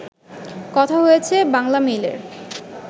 কথা হয়েছে বাংলামেইলের